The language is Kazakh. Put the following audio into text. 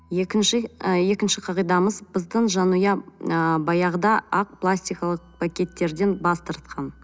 екінші ы екінші қағидамыз біздің жанұя ы баяғыда ақ пластикалық пакеттерден бас тартқан